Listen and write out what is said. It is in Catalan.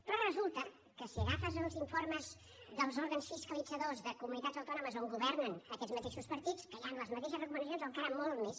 però resulta que si agafes els informes dels òrgans fiscalitzadors de comunitats autònomes on governen aquests mateixos partits hi han les mateixes recomanacions o encara molt més